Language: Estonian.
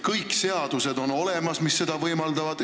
Kõik seadused on olemas, mis seda võimaldavad.